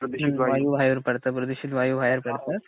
प्रदूषित वायू बाहेर पडतात, प्रदूषित वायू बाहेर पडतात.